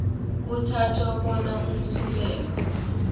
kuthathwa bona umsulwa